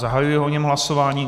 Zahajuji o něm hlasování.